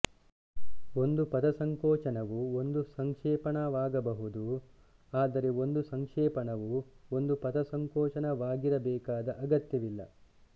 ಒಂದು ಪದಸಂಕೋಚನವು ಒಂದು ಸಂಕ್ಷೇಪಣವಾಗಬಹುದು ಆದರೆ ಒಂದು ಸಂಕ್ಷೇಪಣವು ಒಂದು ಪದಸಂಕೋಚನವಾಗಿರಬೇಕಾದ ಅಗತ್ಯವಿಲ್ಲ